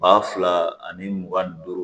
Ba fila ani mugan ni duuru